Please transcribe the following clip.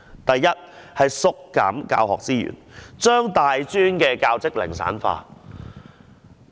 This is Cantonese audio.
第一，當局縮減教學資源，將大專教職零散化。